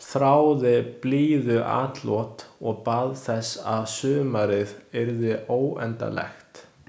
Þráði blíðuatlot og bað þess að sumarið yrði óendanlegt.